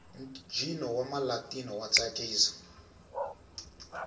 ntjino wamalatino watsakisa